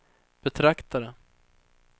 betraktade